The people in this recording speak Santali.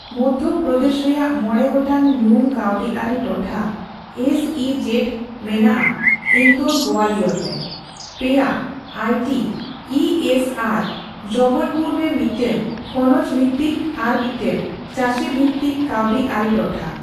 ᱢᱚᱫᱷᱳ ᱯᱨᱚᱫᱮᱥ ᱨᱮᱭᱟᱜ ᱢᱚᱬᱮ ᱜᱚᱴᱟᱝ ᱧᱩᱢ ᱠᱟᱣᱰᱤ ᱟᱹᱨᱤ ᱴᱚᱴᱷᱟ(ᱮᱥᱹᱤᱹᱡᱮᱴ) ᱢᱮᱱᱟᱜ ᱟᱺ ᱤᱱᱫᱳᱨ, ᱜᱳᱭᱟᱞᱤᱭᱚᱨ ᱨᱮ ᱾ ᱯᱮᱭᱟ ᱟᱭᱹᱴᱤ/ ᱤᱹᱮᱥ ᱟᱨ ᱡᱚᱵᱚᱞᱯᱩᱨ ᱨᱮ ᱢᱤᱫᱴᱟᱝ ᱠᱷᱚᱱᱚᱡ ᱵᱷᱤᱛᱤᱠ ᱟᱨ ᱢᱤᱫᱴᱟᱝ ᱪᱟᱹᱥᱤ ᱵᱷᱤᱛᱤᱠ ᱠᱟᱹᱣᱰᱤ ᱟᱹᱨᱤ ᱴᱚᱴᱷᱟ ᱾